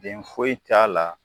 Den foyi t'a la